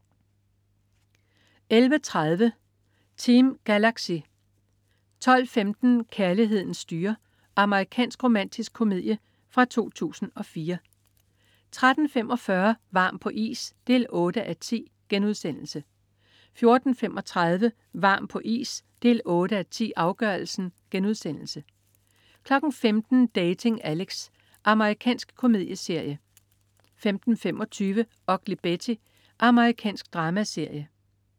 11.30 Team Galaxy 12.15 Kærligheden styrer! Amerikansk romantisk komedie fra 2004 13.45 Varm på is 8:10* 14.35 Varm på is 8:10, afgørelsen* 15.00 Dating Alex. Amerikansk komedieserie 15.25 Ugly Betty. Amerikansk dramaserie